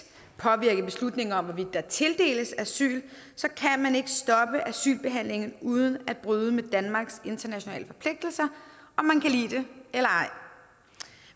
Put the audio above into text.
påvirke en beslutning om hvorvidt der tildeles asyl så kan man ikke stoppe asylbehandlingen uden at bryde med danmarks internationale forpligtelser om man kan lide det eller ej